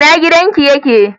Ina gidan ki ye ke?